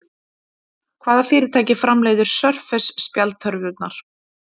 Hvaða fyrirtæki framleiðir Surface spjaldtölvurnar?